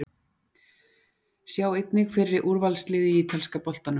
Sjá einnig: Fyrri úrvalslið í ítalska boltanum